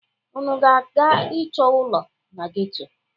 Unu na-aga ịchọ ụlọ na geto?